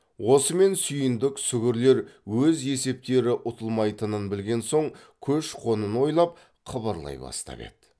осымен сүйіндік сүгірлер өз есептері ұтылмайтынын білген соң көш қонын ойлап қыбырлай бастап еді